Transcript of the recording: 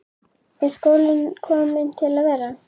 Er skólinn kominn til að vera?